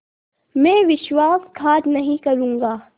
मैं विश्वासघात नहीं करूँगा